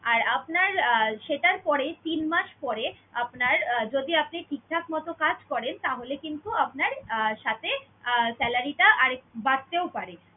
আর আপনার আহ সেটার পরে তিন মাস পরে আপনার আহ যদি আপনি ঠিকঠাক মত কাজ করেন তাহলে কিন্তু আপনার আহ সাথে আহ salary টা আরেক~ বাড়তেও পারে।